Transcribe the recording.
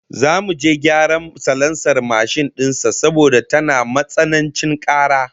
Zamu je gyaran salansar mashin din sa saboda tana matsanancin kara